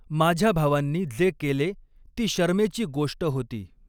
माझ्या भावांनी जे केले ती शरमेची गोष्ट होती!